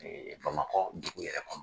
Bamakɔ dugu yɛrɛ kɔnɔ